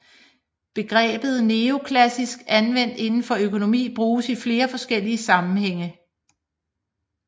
Begrebet neoklassisk anvendt inden for økonomi bruges i flere forskellige sammenhænge